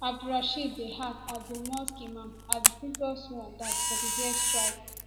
abdulrasheed dey act as di mosque imam as di previous one die for di air strikes